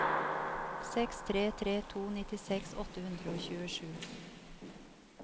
seks tre tre to nittiseks åtte hundre og tjuesju